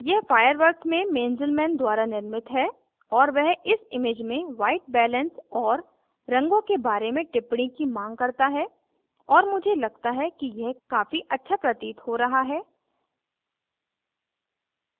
यह fireworks में mainzelmann द्वारा निर्मित है और वह इस image में white balance और रंगों के बारे में टिप्पणी की मांग करता है और मुझे लगता है कि यह काफी अच्छा प्रतीत हो रहा है